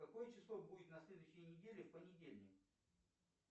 какое число будет на следующей неделе в понедельник